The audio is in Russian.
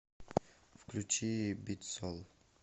включи битсол